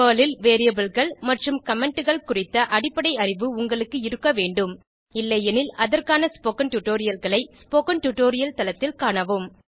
Perl ல் Variableகள் மற்றும் Commentகள் குறித்த அடிப்படை அறிவு உங்களுக்கு இருக்க வேண்டும் இல்லையெனில் அதற்கான ஸ்போகன் டுடோரியல்களை ஸ்போகன் டுடோரியல் தளத்தில் காணவும்